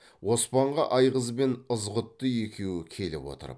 оспанға айғыз бен ызғұтты екеуі келіп отырып